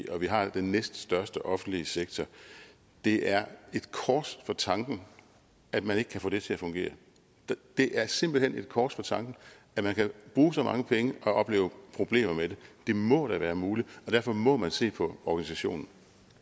og vi har den næststørste offentlige sektor det er et kors for tanken at man ikke kan få det til at fungere det er simpelt hen en kors for tanken at man kan bruge så mange penge og opleve problemer med det det må da være muligt og derfor må man se på organisationen